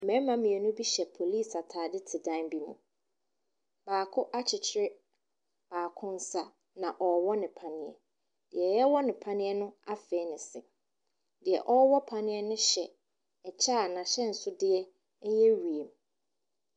Mmarima mmienu bi hyɛ polisi atade te dan bi mu. Baako akyekyere baako nsa, na ɔrewɔ no panneɛ. Nea wɔrewɔ no panneɛ no afee ne se. Deɛ ɔrewɔ panneɛ no hyɛ kyɛ a n'ahyɛnsodeɛ yɛ wiem.